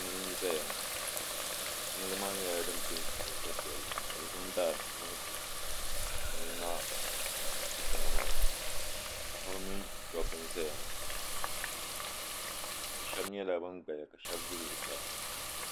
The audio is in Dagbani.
Jiŋli n zaya ŋɔ jiŋli maa nyɛla din penti penta piɛlli ka bɛ zaŋ dari n zaŋ tuntu jiŋli maa dikpina maa paɣaba mini dabba n zaya ŋɔ bɛ sheba nyɛla ban gbaya ka sheba za zuɣusaa.